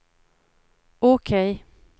OK